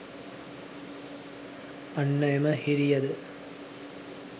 අන්න එම හිරිය ද